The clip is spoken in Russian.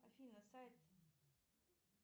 афина сайт